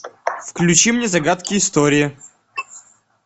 включи мне загадки истории